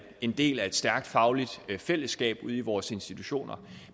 en del af et stærkt fagligt fællesskab ude i vores institutioner